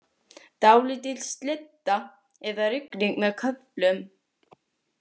Dálítil slydda eða rigning með köflum